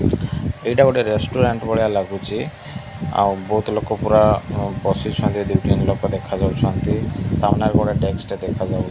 ଏଇଟା ଗୋଟିଏ ରେଷ୍ଟୁରାଣ୍ଟ ଭଳିଆ ଲାଗୁଚି। ଆଉ ବହୁତ୍ ଲୋକ ଗୁରା ବସିଛନ୍ତି। ଦେଖା ଯାଉଛନ୍ତି। ସାମ୍ନାରେ ଗୋଟେ ଡେସ୍କ ଟେ ଦେଖାଯାଉ --